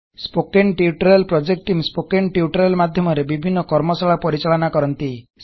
spoken tutorial project team spoken tutorial ମାଧ୍ୟମରେ ବିଭିନ୍ନ କର୍ମଶାଳା ପରିଚାଳନ କରନ୍ତି